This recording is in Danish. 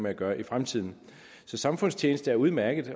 at gøre i fremtiden så samfundstjeneste er udmærket